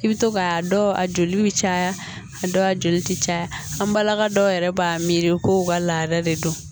I bɛ to k'a dɔw a joli bɛ caya a dɔw la joli tɛ caya an balaka dɔw yɛrɛ b'a miiri kow ka lahala de don